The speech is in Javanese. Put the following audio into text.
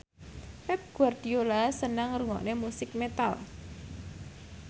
Pep Guardiola seneng ngrungokne musik metal